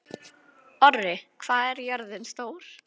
Orri, hvað er jörðin stór?